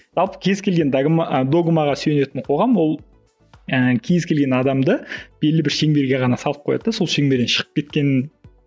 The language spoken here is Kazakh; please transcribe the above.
жалпы кез келген догмаға сүйенетін қоғам ол ыыы кез келген адамды белгілі бір шеңберге ғана салып қояды да сол шеңберден шығып кеткенін